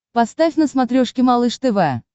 поставь на смотрешке малыш тв